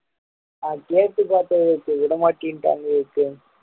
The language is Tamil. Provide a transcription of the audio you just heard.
நான் கேட்டு பார்த்தேன் விவேக் விட மாட்டேன்னுட்டாங்க விவேக்கு